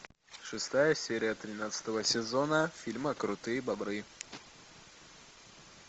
шестая серия тринадцатого сезона фильма крутые бобры